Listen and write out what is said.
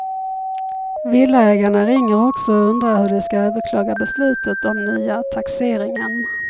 Villaägarna ringer också och undrar hur de ska överklaga beslutet om nya taxeringen.